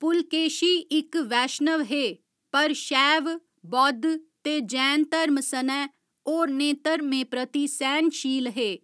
पुलकेशी इक वैश्णव हे, पर शैव, बौद्ध ते जैन धर्म सनै होरनें धर्में प्रति सैह्‌नशील हे।